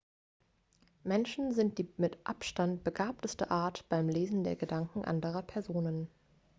menschen sind die mit abstand begabteste art beim lesen der gedanken anderer personen